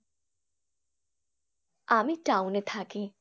আমি town এ থাকি।